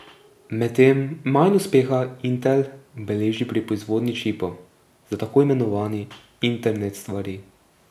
Medtem manj uspeha Intel beleži pri proizvodnji čipov za tako imenovani internet stvari.